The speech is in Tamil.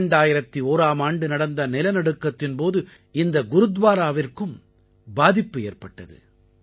2001ஆம் ஆண்டு நடந்த நிலநடுக்கத்தின் போது இந்த குருத்வாவிற்கும் பாதிப்பு ஏற்பட்டது